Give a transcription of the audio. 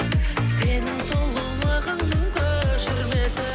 сенің сұлулығыңның көшірмесі